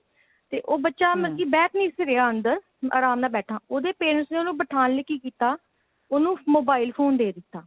ਤੇ ਉਹ ਬੱਚਾ hm ਬੈਠ ਨਹੀਂ ਸੀ ਰਿਹਾ ਅੰਦਰ ਆਰਾਮ ਨਾਲ ਬੈਠਾ ਉਹਦੇ parents ਨੇ ਉਹਨੂੰ ਬਿਠਾਉਣ ਲਈ ਕੀ ਕੀਤਾ ਉਨੂੰ mobile phone ਦੇ ਦਿੱਤਾ